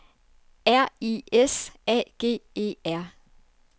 R I S A G E R